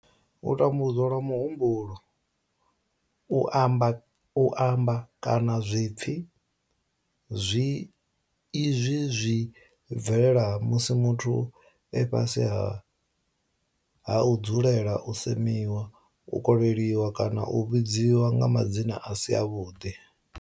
U tambudzwa lwa muhumbulo, u amba, kana zwipfi izwi zwi bvelela musi muthu e fhasi ha u dzulela u semiwa, u kolelwa kana u vhidzwa nga madzina a si avhuḓi.